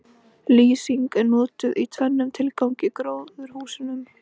Lýsing er notuð í tvennum tilgangi í gróðurhúsum.